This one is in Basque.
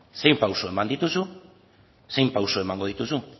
zein pausu eman dituzu zein pausu emango dituzu